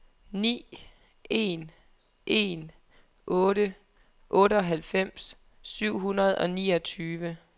ni en en otte otteoghalvfems syv hundrede og niogtyve